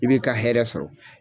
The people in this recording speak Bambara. I b'i ka hɛɛrɛ sɔrɔ.